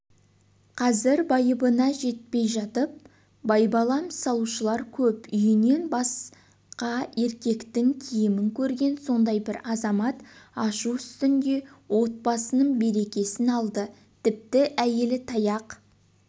қазір байыбына жетпейжатып байбалам салушылар көп үйінен басқаеркектің киімін көрген сондай бір азамат ашу үстінде отбасының берекесін алды тіпті әйелі таяқ